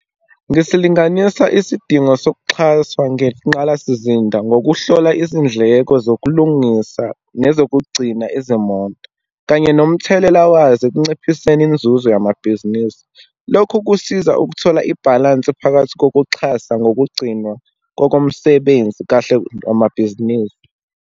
Ngisilinganisa isidingo sokuxhaswa ngenqalasizinda, ngokuhlola izindleko zokulungisa nezokugcina izimoto, kanye nomthelela wazo ekunciphiseni inzuzo yamabhizinisi. Lokhu kusiza ukuthola ibhalansi phakathi kokuxhasa ngokugcinwa kokomsebenzi kahle amabhizinisi.